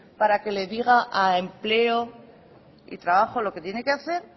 para que le diga a empleo y trabajo lo que tiene que hacer